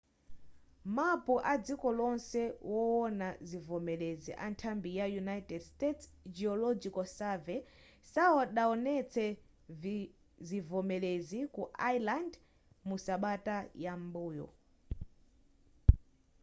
mapu adziko lonse wowona zivomerezi anthambi ya united states geological survey sadawonetse zivomerezi ku iceland mu sabata yam'mbuyo